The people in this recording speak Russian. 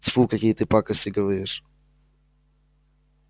тьфу какие ты пакости говоришь